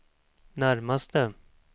närmaste